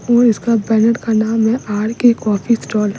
और इसका बैनर का नाम है आर के कॉफी स्टॉल --